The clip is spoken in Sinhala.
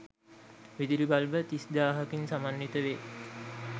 විදුලි බල්බ 30000 කින් සමන්විත වේ.